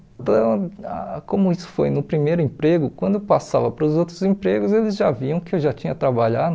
Então, ah como isso foi no primeiro emprego, quando eu passava para os outros empregos, eles já viam que eu já tinha trabalhado.